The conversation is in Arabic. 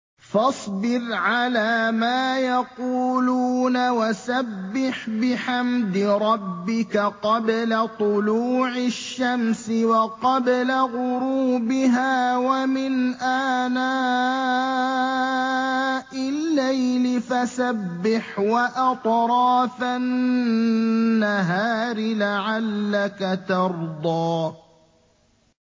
فَاصْبِرْ عَلَىٰ مَا يَقُولُونَ وَسَبِّحْ بِحَمْدِ رَبِّكَ قَبْلَ طُلُوعِ الشَّمْسِ وَقَبْلَ غُرُوبِهَا ۖ وَمِنْ آنَاءِ اللَّيْلِ فَسَبِّحْ وَأَطْرَافَ النَّهَارِ لَعَلَّكَ تَرْضَىٰ